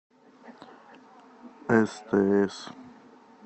стс